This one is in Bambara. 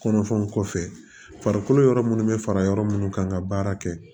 Kɔnɔfɛnw kɔfɛ farikolo yɔrɔ munnu bɛ fara yɔrɔ munnu kan ka baara kɛ